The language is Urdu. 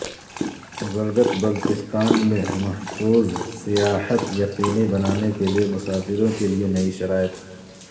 گلگت بلتستان میں محفوظ سیاحت یقینی بنانے کے لیے مسافروں کے لیے نئی شرائط